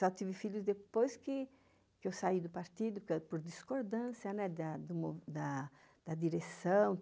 Só tive filhos depois que eu saí do partido, por discordância da direção.